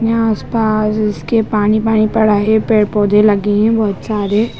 यहां आसपास इसके पानी-पानी पड़ा है पेड़-पौधे लगी है बहुत सारे--